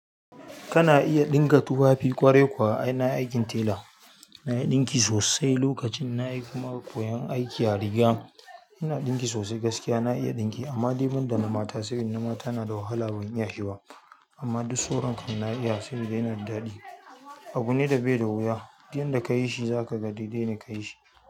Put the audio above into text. Kana iya ɗinka tufafi? Ƙwarai kuwa ai na yi aikin tela, na iya ɗinki sosai. Lokacin na yi kuma ƙwayar aiki a riga. Ina ɗinki sosai gaskiya na iya ɗinki ama dai ban da na mata sabida na mata na da wahala ban iya shi ba ama duk sauran kan na iya sabida yana da daɗi. Abune da bai da wuya, duk inda ka yi shi za ka ga dai-dai na ka yi shi.